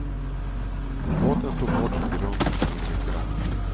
Båten stod hårt på grund och tog in mycket vatten.